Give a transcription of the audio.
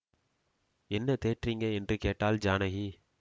என்ன தேட்றிங்க என்று கேட்டாள் ஜானகி